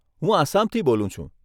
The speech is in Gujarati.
હું આસામથી બોલું છું.